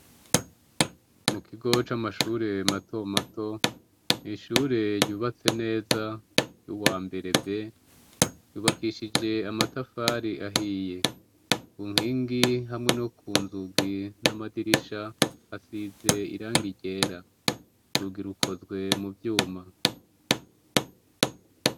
Mu kigo c'amashure mato mato, ishure ryubatse neza, ry'uwambere B, ryubakishije amatafari ahiye; ku nkingi, hamwe no ku nzugi, n'amadirisha, hasize irangi ryera; urugi rukozwe mu vyuma.